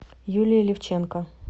юлии левченко